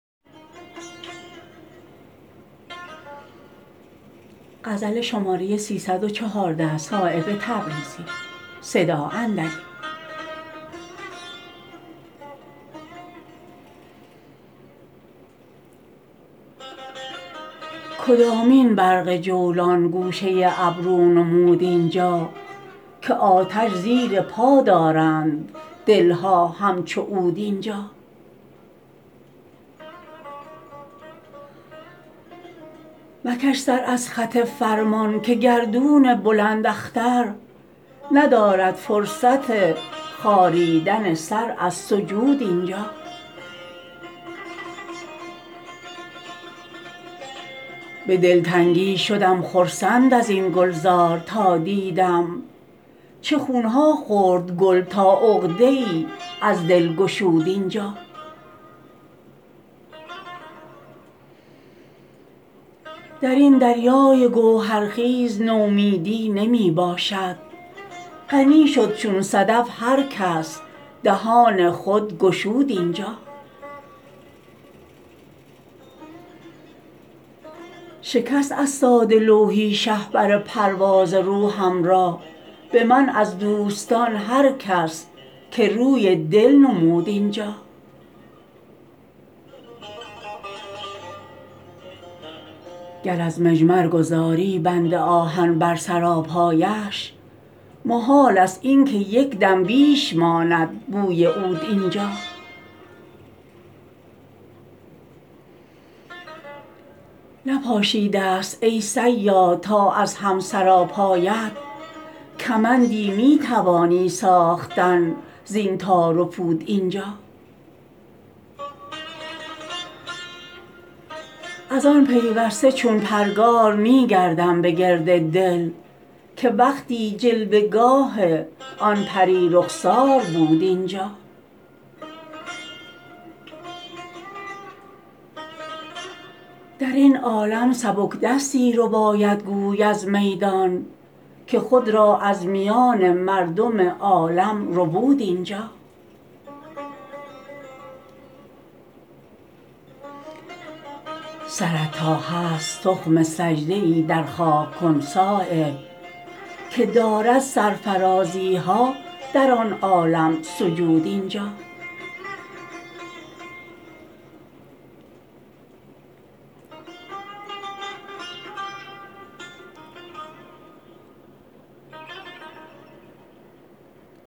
کدامین برق جولان گوشه ابرو نمود اینجا که آتش زیر پا دارند دلها همچو عود اینجا مکش سر از خط فرمان که گردون بلند اختر ندارد فرصت خاریدن سر از سجود اینجا به دلتنگی شدم خرسند ازین گلزار تا دیدم چه خونها خورد گل تا عقده ای از دل گشود اینجا درین دریای گوهر خیز نومیدی نمی باشد غنی شد چون صدف هر کس دهان خود گشود اینجا شکست از ساده لوحی شهپر پرواز روحم را به من از دوستان هر کس که روی دل نمود اینجا گر از مجمر گذاری بند آهن بر سراپایش محال است این که یک دم بیش ماند بوی عود اینجا نپاشیده است ای صیاد تا از هم سراپایت کمندی می توانی ساختن زین تار و پود اینجا ازان پیوسته چون پرگار می گردم به گرد دل که وقتی جلوه گاه آن پری رخسار بود اینجا درین عالم سبکدستی رباید گوی از میدان که خود را از میان مردم عالم ربود اینجا سرت تا هست تخم سجده ای در خاک کن صایب که دارد سرفرازی ها در آن عالم سجود اینجا